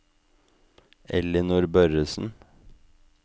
Ellinor Børresen